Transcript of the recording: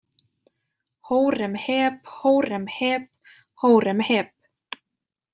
Hóremheb Hóremheb Hóremheb.